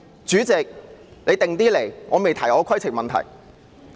主席，你不用緊張，我仍未提出我的規程問題。